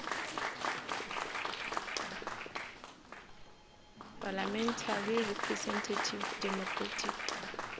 parliamentary representative democratic